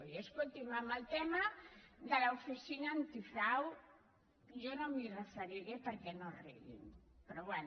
i escolti’m al tema de l’oficina antifrau jo no m’hi referiré perquè no riguin però bé